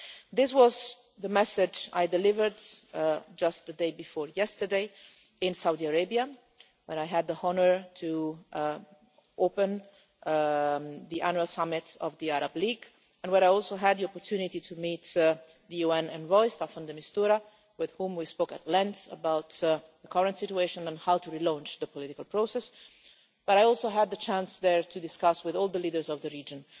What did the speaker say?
This was the message that I delivered just the day before yesterday in Saudi Arabia, where I had the honour to open the Annual Summit of the Arab League and where I also had the opportunity to meet the UN Special Envoy, Staffan de Mistura, with whom I spoke at length about the current situation and how to relaunch the political process. I also had the chance there to discuss and share with all the leaders of the region